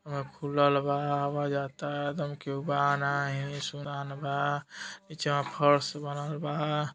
खुलल बा हवा जाता एदम केहू बा ना ही सुनान बा नीचवा फर्श बनल बा।